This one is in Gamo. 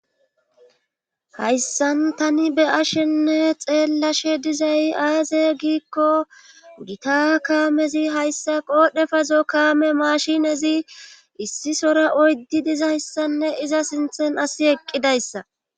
hayssan tani be ashenne xeellashe dizay aaze giikko gita kaamezi hayssa qoodhe fazo kaame mashinezi issi sora oydi dizayssanne iza sinthen asi eqqidayssa